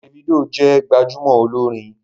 Davido jẹ gbajúmò olórin